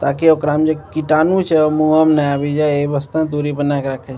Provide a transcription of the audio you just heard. ताकी ओकरा मे जे कीटाणु छै ओ मूंहो में ने आब जाय एही वास्ते दूरी बना के राखे छै।